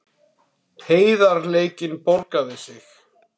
Heiðarleikinn borgaði sig